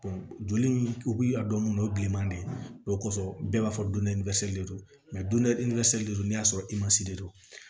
joli in u bi a dɔn mun na o ye bilenman de ye o kosɔn bɛɛ b'a fɔ donda ni seli le don de don ni y'a sɔrɔ i ma se de don